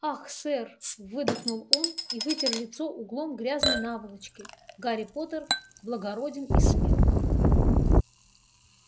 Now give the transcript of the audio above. ах сэр выдохнул он и вытер лицо углом грязной наволочки гарри поттер благороден и смел